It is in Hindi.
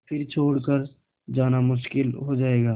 फिर छोड़ कर जाना मुश्किल हो जाएगा